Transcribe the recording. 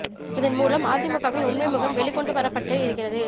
இதன் மூலம் அதிமுகவின் உண்மை முகம் வெளிக் கொண்டு வரப்பட்டு இருக்கிறது